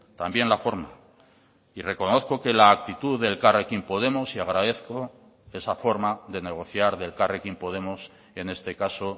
también la forma y reconozco que la actitud de elkarrekin podemos y agradezco esa forma de negociar de elkarrekin podemos en este caso